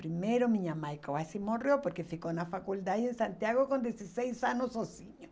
Primeiro, minha mãe quase morreu, porque ficou na faculdade em Santiago com dezesseis anos sozinho.